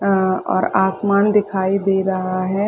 अ और आसमान दिखाई दे रहा हैं ।